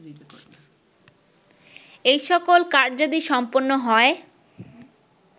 এই সকল কার্যাদি সম্পন্ন হয়